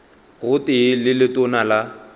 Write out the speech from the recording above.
go tee le letona la